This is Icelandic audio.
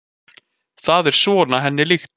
Það er svona henni líkt.